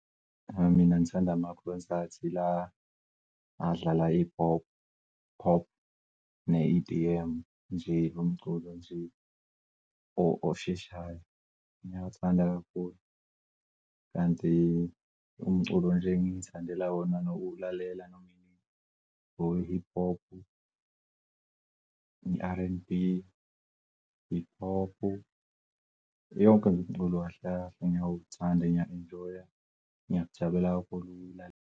Mina ngithanda amakhonsathi la adlala hip hop, hop ne-E_D_M nje lo mculo nje osheshayo, ngiyawuthanda kakhulu. Kanti umculo nje engiy'thandela wona nokuwulalela noma inini we-hip hop ne-R_N_B, hip hop yonke umculo kahle kahle ngiyawuthanda and ngiya-enjoy-a, ngiyajabulela kakhulu ukuwulalela.